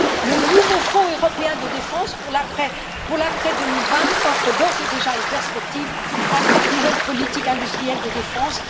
Le nouveau Fonds européen de la défense pour l'après 2020 offre d'ores et déjà une perspective à cette nouvelle politique industrielle de défense.